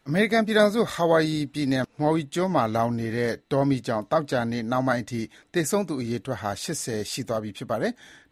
အမေရိကန်ပြည်ထောင်စု၊ Hawaii ပြည်နယ်က Maui ကျွန်းမှာလောင်နေတဲ့ တောမီးကြောင့် သောကြာနေ့နှောင်းပိုင်းအထိ သေဆုံးသူအရေအတွက်ဟာ ၈၀ ဦး ရှိသွားပြီ ဖြစ်ပါတယ်။